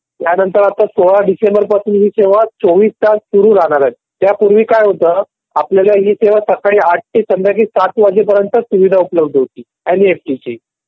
त्यानंतर आता सोळा डिसेंबर पासून हि सेवा चौवीस तास सुरू राहणार आहे त्यापूर्वी काय होतं आपल्याला ही सेवा सकाळी आठ वाजता पासन संध्याकाळी सात वाजेपर्यंत उपलब्ध होती एन एफ टी ची